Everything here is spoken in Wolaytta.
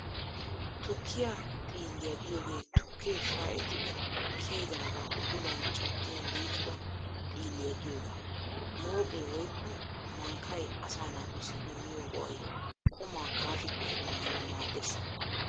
Tukkiyaa xiilliyaa giyoogee tukke shaa'ettidi kiyidaagaa udulan caddin liiqida xiilliyaa giyoogaa . Mooqee woykko mankkay asaa naatussi immiyo go'ay qumaa kaashi kaashi maanawu maaddees.